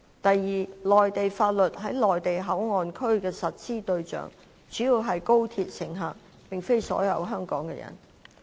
第二，內地法律在內地口岸區的實施對象主要是高鐵乘客，並非所有在香港的人。